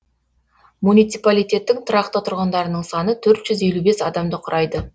муниципалитеттің тұрақты тұрғындарының саны төрт жүз елу бес адамды құрайды